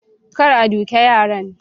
kar a duke yaran